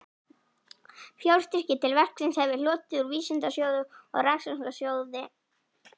Fjárstyrki til verksins hef ég hlotið úr Vísindasjóði og Rannsóknarsjóði